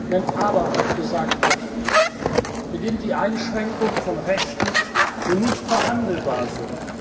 Immer, wenn aber gesagt wird, beginnt die Einschränkung von Rechten, die nicht verhandelbar